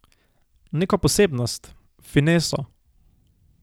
Neko posebnost, fineso...